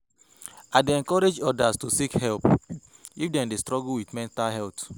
I dey encourage others to seek help if dem dey struggle with mental health.